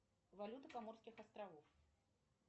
валюта коморских островов